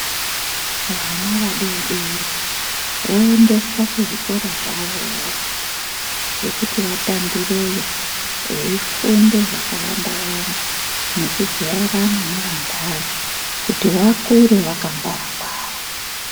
Vana vadodori voendeswa kuzvikora zvawo zvekuti vatambireyo veifunda zvakawanda wanda ngekujairana nevandani kuti vakure vakwangwara ngwara.